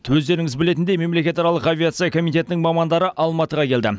өздеріңіз білетіндей мемлекетаралық авиация комитетінің мамандары алматыға келді